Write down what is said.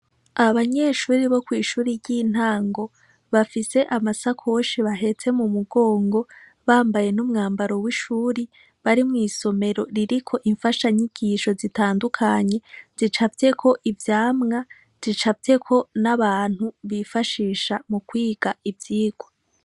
Abanyeshuri bo kw'ishuri ry'intango, bafise amasakoshi bahetse mu mugongo, bambaye n'umbwambaro w'ishuri, bari mw'isomero ririko imfashanyigisho zitandukanye, zicafyeko ivyamwa, zicafyeko n'abantu, bifashisha mu kwiga ivyigwa.